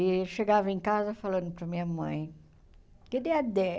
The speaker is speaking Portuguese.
E chegava em casa falando para minha mãe, cadê a Dé?